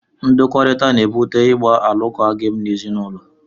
Ndọkọrita na-ebute ịgba alụkwaghịm n'ezinaụlọ.